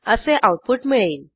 असे आऊटपुट मिळेल